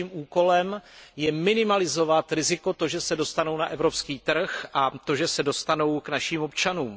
Naším úkolem je minimalizovat riziko, že se dostanou na evropský trh a že se dostanou k našim občanům.